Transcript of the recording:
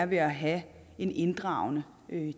ved at have en inddragende